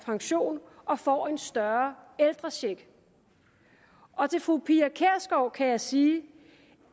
pension og får en større ældrecheck og til fru pia kjærsgaard kan jeg sige